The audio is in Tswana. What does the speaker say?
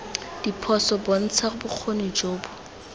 diphoso bontsha bokgoni jo bo